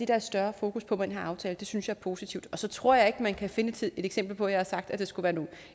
der et større fokus på med den her aftale det synes jeg er positivt så tror jeg ikke at man kan finde et eksempel på at jeg har sagt at det skulle være